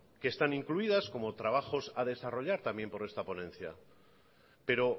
que están incluidas como trabajos a desarrollar también por esta ponencia pero